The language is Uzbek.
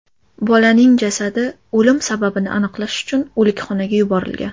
Bolaning jasadi o‘lim sababini aniqlash uchun o‘likxonaga yuborilgan.